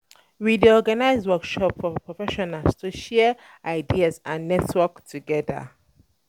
We dey organize workshop for professionals to share um ideas and network together.